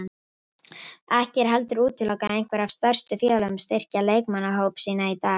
Ekki er heldur útilokað að einhver af stærstu félögunum styrki leikmannahópa sína í dag.